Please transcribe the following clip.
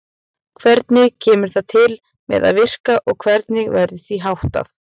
Hvernig kemur það til með að virka og hvernig verður því háttað?